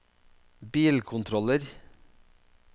bilkontroller